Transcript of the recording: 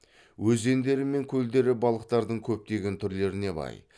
өзендері мен көлдері балықтардың көптеген түрлеріне бай